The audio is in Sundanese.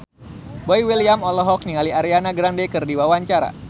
Boy William olohok ningali Ariana Grande keur diwawancara